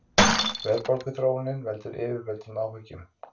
Verðbólguþróunin veldur yfirvöldum áhyggjum